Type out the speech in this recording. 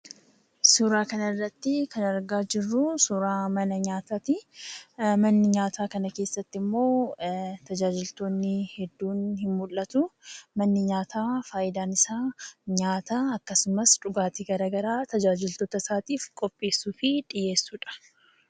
Suuraa kana irratti kan argaa jirruu, suuraa mana nyaataati. Mana nyaataa kana keessatti immoo tajaajiltoonni hedduun ni mul'atuu. Manni nyaataa fayidaan isaa nyaata akkasumas dhugaatii garaagaraa tajaajiltoota isaatiif qopheessuu fi dhiheessuudha.